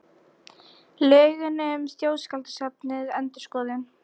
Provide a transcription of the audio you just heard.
Lögin um Þjóðskjalasafnið endurskoðuð